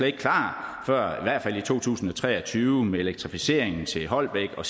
ikke klar før i hvert fald i to tusind og tre og tyve med elektrificeringen til holbæk og